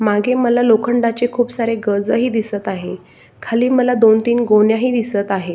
मागे मला लोखंडाचे खूप सारे गजही दिसत आहे खाली मला दोन तीन गोण्या हि दिसत आहे.